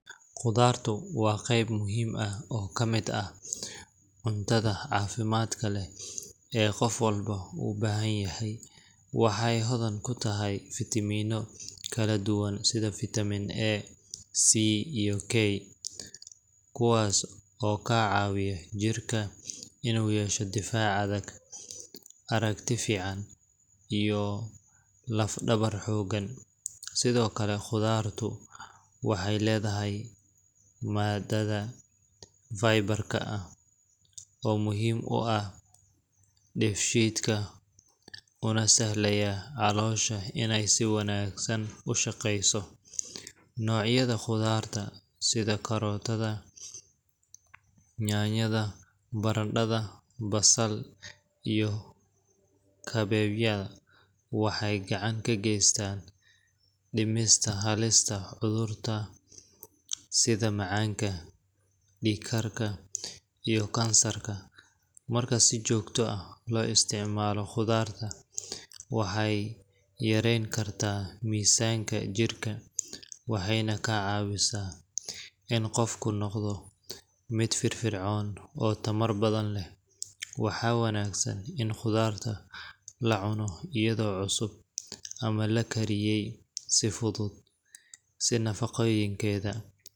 Qudhaartu waa qayb muhiim ah oo ka mid ah cuntooyinka caafimaadka leh ee jidhka bini’aadamka uu si weyn ugu baahan yahay si uu si habsami ah u shaqeeyo. Waxay hodan ku tahay nafaqooyin badan sida fiitamiinno kala duwan, sida fitamin A, C iyo K macdano, iyo fiilooyin dabiici ah oo caawiya dheefshiidka, hoos u dhigta khatarta cudurrada wadnaha, macaanka, iyo noocyada qaar ee kansarka. Waxaa lagu kala cunaa siyaabo badan sida cunto karis fudud, salad, shiidan ama xitaa la miiray oo qayb ka noqda cuntooyinka kaladuwan. Khudaar kala duwan sida karootada, yaanyada, basal, bocor, baradhada, iyo brokkoligu waxay bixiyaan nafaqooyin gaar ah oo kala duwan, taas oo ka dhigaysa mid lagama maarmaan u ah cunto-maalmeedka qofka. Ku darista khudaarta cuntooyinka carruurta iyo dadka waaweyn waxay si weyn u kordhisaa caafimaadka guud, waxaana laga hortagi karaa cayilka iyo cudurrada la xiriira. Waxaa muhiim ah in khudaarta la isticmaalo ay noqoto mid nadiif ah, si wanaagsan loo dhaqay, loona diyaariyey hab caafimaad leh si looga faa’iidaysto dhammaan nafaqooyinka.